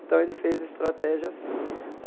Então, ele fez a estratégia assim.